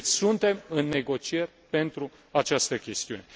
Deci, suntem în negocieri pentru această chestiune.